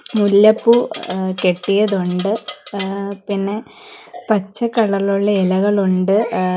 മുല്ലപ്പൂ ങ് കെട്ടിയതു ഉണ്ട് ആ പിന്നെ പച്ച കളർ ഇലുള്ള ഇലകൾ ഉണ്ട് ങ്ങ --